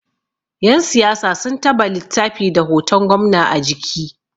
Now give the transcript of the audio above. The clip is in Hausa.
Yansiyasa sun taba littafi da hoton gwamna a jiki